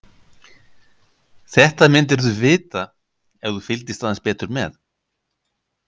Þetta myndirðu vita ef þú fylgdist aðeins betur með.